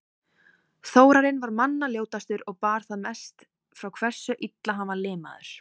Þórarinn var manna ljótastur og bar það mest frá hversu illa hann var limaður.